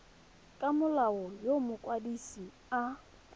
ka molao yo mokwadise a